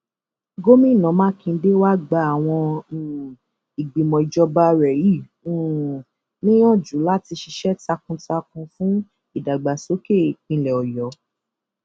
gomina makinde wàá gba àwọn um ìgbìmọ ìjọba rẹ yìí um níyànjú láti ṣiṣẹ takuntakun fún ìdàgbàsókè ìpínlẹ ọyọ